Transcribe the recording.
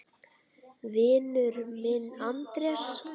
Vinur minn Andrés!